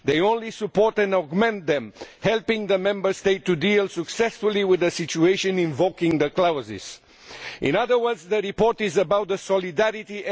They only support and amend them, helping the Member States to deal successfully with a situation invoking the clauses. In other words, the report is about solidarity.